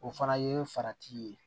O fana ye farati ye